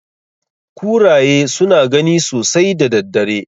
Kuraye suna gani sosai da daddare.